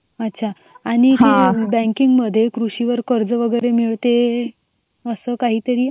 अच्छा आणि ते बँकिंग मध्ये कृषीवर कर्ज वगैरे मिळते असं काहीतरी